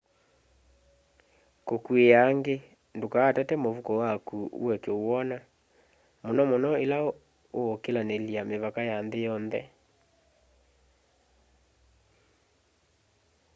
kukuia angi ndukaatate muvuko waku ueke uwona muno muno ila uukilanilya mivaka ya nthi yonthe